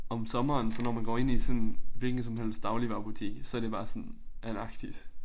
Om sommeren så når man går ind i sådan hvilken som helst dagligvarebutik så det bare sådan Antarktis